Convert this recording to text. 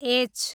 H